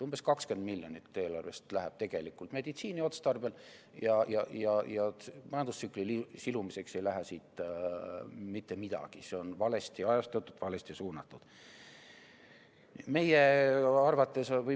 Umbes 20 miljonit läheb eelarvest meditsiini otstarbel ja majandustsükli silumiseks ei lähe siit mitte midagi, see on valesti ajastatud, valesti suunatud.